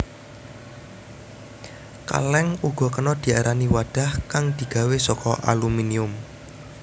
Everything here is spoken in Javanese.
Kaleng uga kena diarani wadhah kang digawé saka aluminium